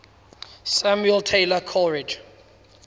samuel taylor coleridge